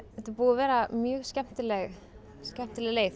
þetta er búið að vera mjög skemmtileg skemmtileg leið